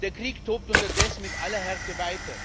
Der Krieg tobt unterdessen mit aller Härte weiter.